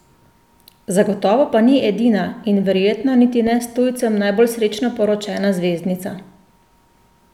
Zagotovo pa ni edina in verjetno niti ne s tujcem najbolj srečno poročena zvezdnica.